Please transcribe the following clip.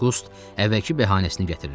Qust əvvəlki bəhanəsini göstərirdi.